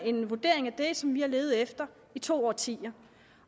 en vurdering af det som vi har levet efter i to årtier